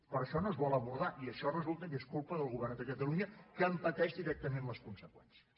però això no es vol abordar i això resulta que és culpa del govern de catalunya que en pateix directament les conseqüències